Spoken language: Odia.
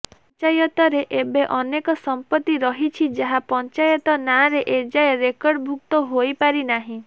ପଞ୍ଚାୟତରେ ଏବେ ଅନେକ ସମ୍ପତ୍ତି ରହିଛି ଯାହା ପଞ୍ଚାୟତ ନାରେ ଏଯାଏ ରେକର୍ଡ ଭୁକ୍ତ ହୋଇପାରିନାହିଁ